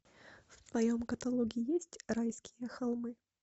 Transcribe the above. в твоем каталоге есть райские холмы